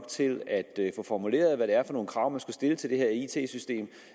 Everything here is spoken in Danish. til at få formuleret hvad det var for nogle krav man skulle stille til det her it system